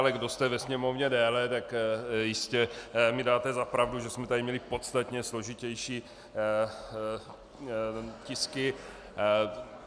Ale kdo jste ve Sněmovně déle, tak jistě mi dáte za pravdu, že jsme tady měli podstatně složitější tisky.